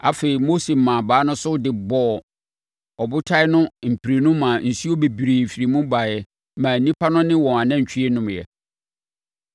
Afei Mose maa abaa no so de bɔɔ ɔbotan no mprenu maa nsuo bebree firii mu baeɛ maa nnipa no ne wɔn anantwie nomeeɛ.